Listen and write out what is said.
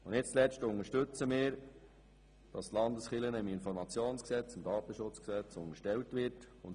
Nicht zuletzt unterstützen wir, dass die Landeskirchen dem Informationsgesetz und dem Datenschutzgesetz unterstellt werden.